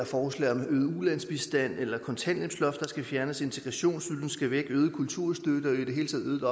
forslag om øget ulandsbistand eller et kontanthjælpsloft der skal fjernes at integrationsydelsen skal væk øget kulturstøtte og i det hele taget